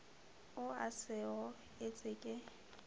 o a sega etse ke